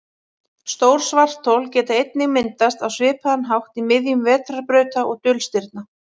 Stór svarthol geta einnig myndast á svipaðan hátt í miðjum vetrarbrauta og dulstirna.